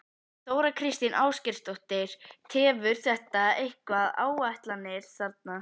Þóra Kristín Ásgeirsdóttir: Tefur þetta eitthvað áætlanir þarna?